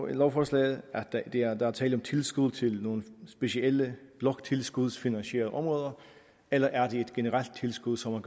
i lovforslaget at der er tale om tilskud til nogle specielle bloktilskudsfinansierede områder eller er det et generelt tilskud som man